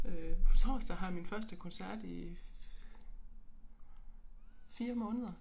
Øh på torsdag har jeg min første koncert i 4 måneder